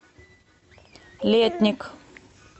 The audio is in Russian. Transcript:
летник